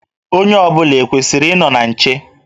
Onye ọ bụla ekwesịrị ịnọ na nche?